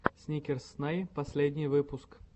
сникерс снай последний выпуск